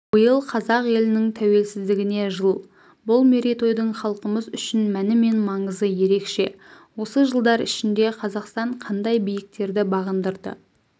биыл қазақ елінің тәуелсіздігіне жыл бұл мерейтойдың халқымыз үшін мәні мен маңызы ерекше осы жылдар ішінде қазақстан қандай биіктерді бағындырды